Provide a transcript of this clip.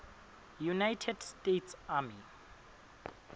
united states army